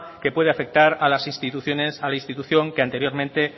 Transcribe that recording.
que pueda afectar a la institución que anteriormente